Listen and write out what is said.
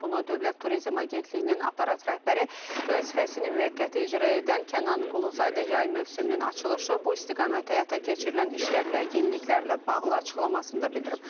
Bunu Dövlət Turizm Agentliyinin aparat rəhbəri vəzifəsini müvəqqəti icra edən Kənan Quluzadə yay mövsümünün açılışı, bu istiqamətdə həyata keçirilən işlər və yeniliklərlə bağlı açıqlamasında bildirib.